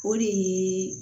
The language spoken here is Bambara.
O de ye